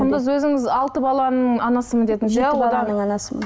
құндыз өзіңіз алты баланың анасымын дедіңіз анасымын